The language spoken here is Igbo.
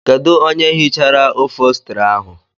Kedụ onye hichara ofostri ahụ?